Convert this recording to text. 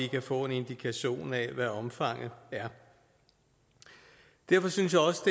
få en indikation af hvad omfanget er derfor synes jeg også